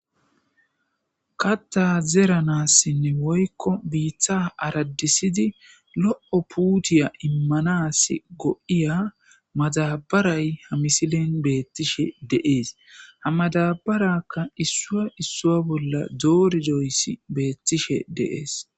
KatHa zeranassinne woykko biiththa araddisidi lo'o puutiya immanas go'iya mazabaray hamisilen beettishe deees hamadabarakka issua issua bolla doori doyssi beettishe deees.